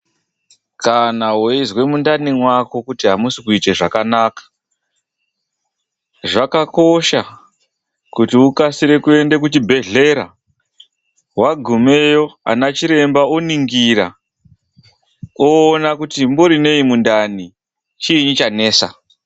KANA WEIZWE MUNDANI MAKO KUTI HAMUSIKUITE ZVAKANAKA ZVAKAKOSHA KUTI UKASIKE KUENDE KUCHIBHEDHLERA WAGUMEYO ANACHIREMBA ONINGIRA OONE KUTI MUMBORINEI MUNDANI, CHII CHANETSA.